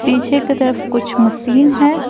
पीछे की तरफ कुछ मसीन है।